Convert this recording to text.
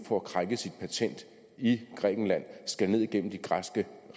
får krænket sit patent i grækenland skal ned igennem de græske